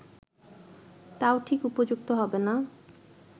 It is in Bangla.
তাও ঠিক উপযুক্ত হবে না